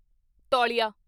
ਤੌਲੀਆ